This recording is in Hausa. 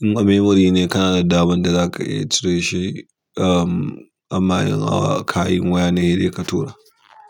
In a memory ne kana da damar cire shi amma in a kayan waya ne sai dai ka tura.